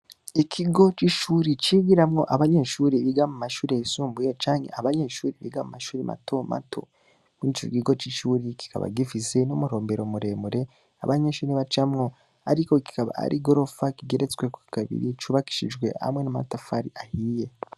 Ikigo c'ishuri, cigiramwo abanyeshuri biga mu mashuri yisumbuye canke abanyeshuri biga mu mashuri mato mato; muri ico kigo c'ishuri, kikaba gifise n'umurombero muremure, abanyeshuri bacamwo; ariko kikaba ari igoroba kigeretsweko kabiri, cubakishijwe hamwe n'amatafari ahiye.